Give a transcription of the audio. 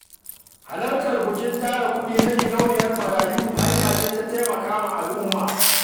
Halartar bukin tara kuɗi na gidauniyar marayu hanya ce ta taimaka wa al'umma.